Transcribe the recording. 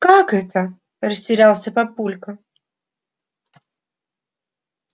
как это растерялся папулька